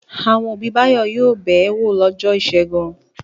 Àwọn òbí Báyọ̀ yóò bẹ̀ ẹ́ wò lọ́jọ́ ìṣẹ́gun.